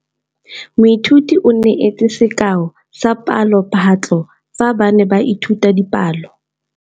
Moithuti o neetse sekaô sa palophatlo fa ba ne ba ithuta dipalo.